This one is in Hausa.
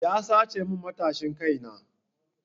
Ya sace min matashin kai na.